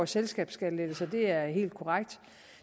selskabsskattelettelser det er helt korrekt og